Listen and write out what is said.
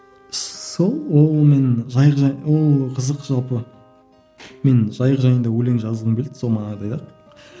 сол ол мен жайық ол қызық жалпы мен жайық жайында өлең жазғым келді сол